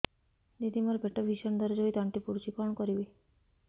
ଦିଦି ମୋର ପେଟ ଭୀଷଣ ଦରଜ ହୋଇ ତଣ୍ଟି ପୋଡୁଛି କଣ କରିବି